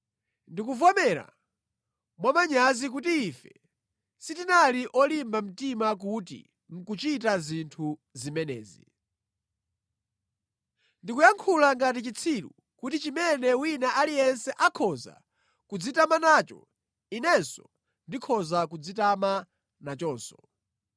Ndikuvomera mwamanyazi kuti ife sitinali olimba mtima kuti nʼkuchita zinthu zimenezi. Ndikuyankhula ngati chitsiru kuti chimene wina aliyense akhoza kudzitama nacho, Inenso ndikhoza kudzitama nachonso.